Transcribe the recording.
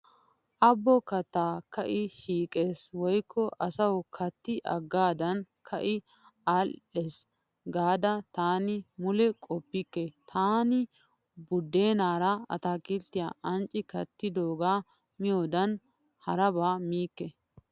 Abo katti ka'i shiiqes woykko asawu katti hagaadan ka'i aadhdhees gaada taani mule qoppabeekke. Taani buddeenaara ataakilttiya ancci kattidogaa miyodan haraba miikke.